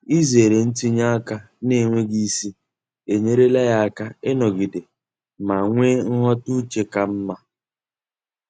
Izere ntinye aka n'enweghị isi enyerela ya aka ịnọgide ma nwee nghọta uche ka mma.